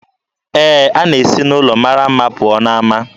Ee, a na-esi n'ụlọ mara mma pụọ n'ama